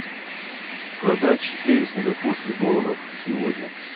продать четыре сингапурских долларов сегодня